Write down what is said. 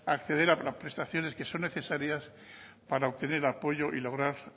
acceder a prestaciones que son necesarias para obtener apoyo y lograr